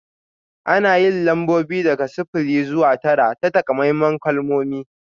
Ana yin lambobi daga sifili zuwa tara ta takamaiman kalmomi